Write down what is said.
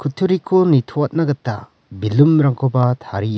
nitoatna gita baloon-rangkoba taria.